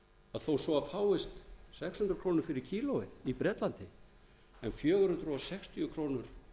að þó svo fáist sex hundruð krónur fyrir kílóið í bretlandi en fjögur hundruð sextíu krónur